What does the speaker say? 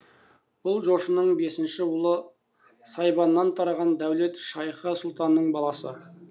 бұл жошының бесінші ұлы сайбаннан тараған дәулет шайхы сұлтанның баласы